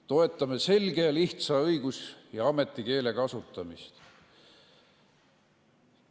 Toetame selge ja lihtsa õigus- ja ametikeele kasutamist.